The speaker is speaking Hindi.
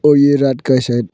और ये रात का है शायद--